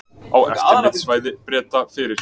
Á eftirlitssvæði Breta fyrir